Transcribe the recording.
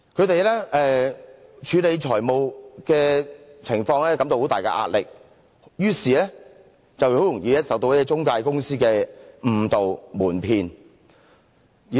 由於他們在處理財務情況時感到很大壓力，於是很容易受到中介公司的誤導瞞騙。